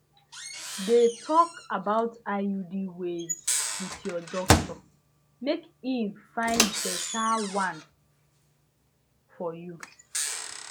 de talk about iud ways with ur doctor mk he find better one for you